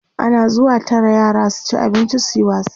ana zuwa Tara yara su ci abinci suyi wasa